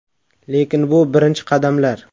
Lekin bu birinchi qadamlar.